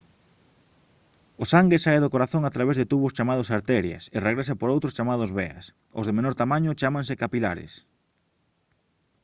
o sangue sae do corazón a través de tubos chamados arterias e regresa por outros chamados veas os de menor tamaño chámanse capilares